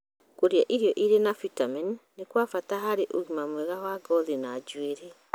Kũrĩa irio irĩ na bitamini nĩ kwa bata harĩ ũgima mwega wa ngothi na njuĩrĩ.